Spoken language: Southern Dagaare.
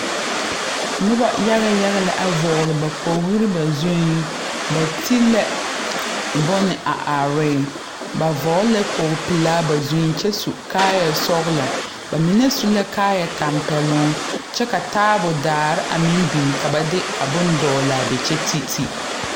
Nuba yaga yaga la a vɔgle ba kpogli ba zung ba te la bun a arẽ ba vɔgle la kpogli pelaa ba zung kye su kaaya sɔglo ba mene su la kaaya tampelon kye ka taabo daare a meng bing ka ba de a bɔn dɔglaa be kye titi.